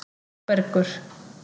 Þórbergur